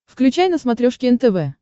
включай на смотрешке нтв